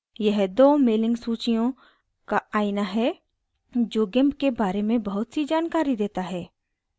यह दो mailing सूचियों का आइना है जो gimp के बारे में बहुत सी जानकारी देता है